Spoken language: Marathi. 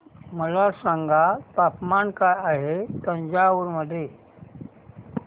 मला सांगा तापमान काय आहे तंजावूर मध्ये